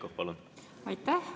Aitäh!